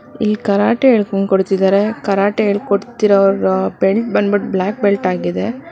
ಇಲ್ ಕರಾಟೆ ಹೇಳ್ಕೊಂಡ್ ಕೊಡ್ತಿದರೆ ಕರಾಟೆ ಹೇಳ್ಕೊಡ್ತೀರೋ ಬೆಲ್ಟ್ ಬಂದ್ಬಿಟ್ ಬ್ಲಾಕ್ ಬೆಲ್ಟ್ ಆಗಿದೆ.